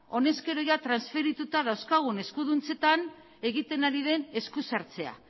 honezkero transferituta dauzkagun eskuduntzetan egiten ari den eskusartzea